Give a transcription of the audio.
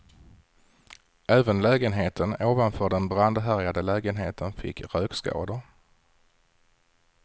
Även lägenheten ovanför den brandhärjade lägenheten fick rökskador.